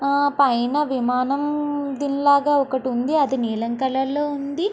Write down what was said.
పైన విమానం దిల్ లాగా ఒకటి ఉంది. అది నీలం కలర్ లో ఉంది.